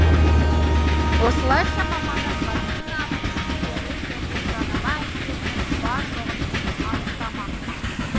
осылайша мамандар вакцинаның кері және жанама әсерінің бар жоғын анықтамақ